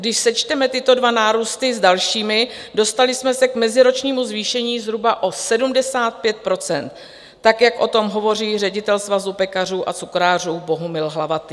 Když sečteme tyto dva nárůsty s dalšími, dostali jsme se k meziročnímu zvýšení zhruba o 75 %, tak jak o tom hovoří ředitel Svazu pekařů a cukrářů Bohumil Hlavatý.